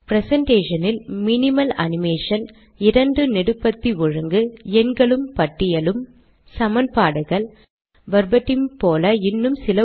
ப்ரெசன்டேஷனில் minimal animation இரண்டு நெடுபத்தி ஒழுங்கு எண்களும் பட்டியலும் சமன்பாடுகள் வெர்பட்டிம் போல இன்னும் சில